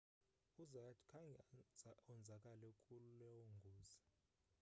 uzayat khange onzakale kulo ngozi